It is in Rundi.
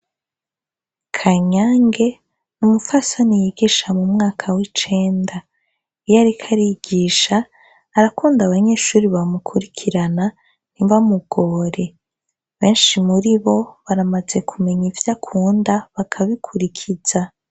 Kanyange ni umufaso ni yigisha mu mwaka w'icenda iyo ariko arigisha, arakunda abanyeshuri bamukurikirana, ntibamugore . Benshi muri bo baramaze kumenya ivyo akunda bakabikurikiza.